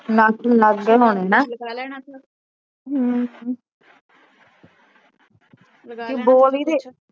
ਨਾਖੂਨ ਲਗ ਗਏ ਹੋਣੇ ਨਾ